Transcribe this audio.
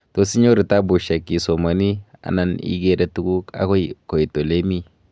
toos inyoru tabushek isomani ana igere tuguk agoi koit olemii